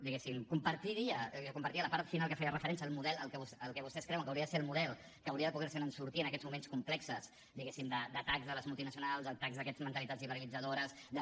diguéssim compartiria compartiria la part final que feia referència al model al que vostès creuen que hauria de ser el model que hauria de poder se’n sortir en aquests moments complexos diguéssim d’atacs de les multinacionals d’atacs d’aquestes mentalitats liberalitzadores de la